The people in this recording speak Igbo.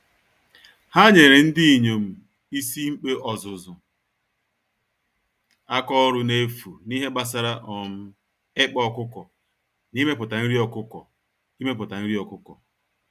Ha nyèrè ndinyom ísì-mkpe ọzụzụ àkà ọrụ nefu, n'ihe gbásárá um ịkpa ọkụkọ na imepụta nri ọkụkọ. imepụta nri ọkụkọ.